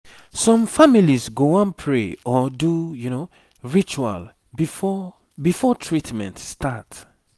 some families go wan pray or do ritual before before treatment start